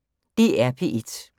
DR P1